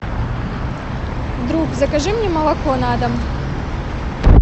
друг закажи мне молоко на дом